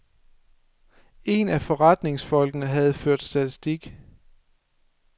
En af forretningsfolkene havde ført statistik.